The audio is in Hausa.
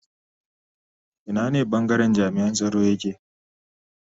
Ina ne bangaren jami'an tsaro yake